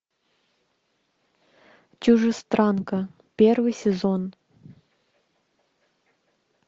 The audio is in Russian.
чужестранка первый сезон